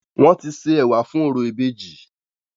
Wọ́n ti se ẹ̀wà fún orò ìbejì.